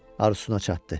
Arzusuna çatdı.